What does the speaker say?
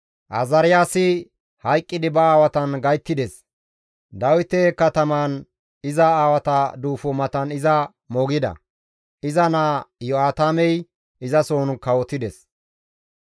Azaariyaasi hayqqidi ba aawatan gayttides; Dawite katamaan iza aawata duufo matan iza moogida; iza naa Iyo7aatamey izasohon kawotides.